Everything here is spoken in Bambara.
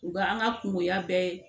U ka an ka kungoya bɛɛ